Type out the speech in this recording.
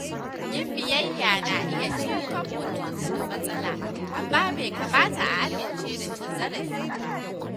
Yin biyayya na iya ceton mutum daga matsala, amma bai kamata a amince da cin zarafi ba.